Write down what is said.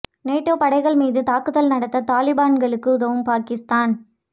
NATO படைகள் மீது தாக்குதல் நடத்த தலிபான்களுக்கு உதவும் பாகிஸ்தான்